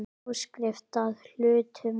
Áskrift að hlutum.